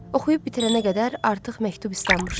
Oxuyub bitirənə qədər artıq məktub islanmışdı.